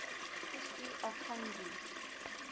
history of hungary